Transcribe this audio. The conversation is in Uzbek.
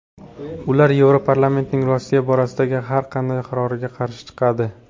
Ular Yevroparlamentning Rossiya borasidagi har qanday qaroriga qarshi chiqadi.